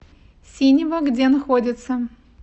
синева где находится